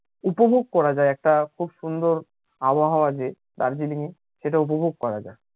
উপভোগ করা যাই একটা খুব সুন্দর আবহাওয়া যে দার্জিলিঙে সেটা উপভোগ করা যাই